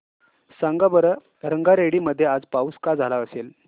सांगा बरं रंगारेड्डी मध्ये आज पाऊस का झाला असेल